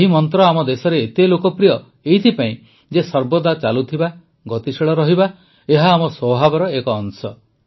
ଏହି ମନ୍ତ୍ର ଆମେ ଦେଶରେ ଏତେ ଲୋକପ୍ରିୟ ଏଥିପାଇଁ ଯେ ସର୍ବଦା ଚାଲୁଥିବା ଗତିଶୀଳ ରହିବା ଏହା ଆମ ସ୍ୱଭାବର ଏକ ଅଂଶ